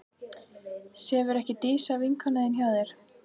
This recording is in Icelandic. Sefur ekki Dísa, vinkona þín, hjá þér?